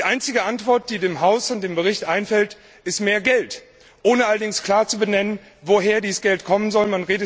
Die einzige Antwort, die dem Haus und dem Bericht einfällt, ist mehr Geld, ohne dass allerdings klar benannt wird, woher dieses Geld kommen soll.